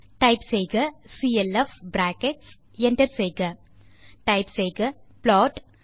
type செய்க CLF bracket enter type செய்க plot